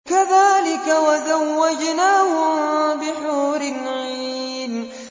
كَذَٰلِكَ وَزَوَّجْنَاهُم بِحُورٍ عِينٍ